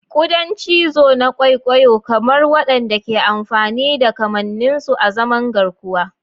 Kuda cizo na kwaikwayo-kamar waɗanda ke amfani da kamannin su azaman garkuwa.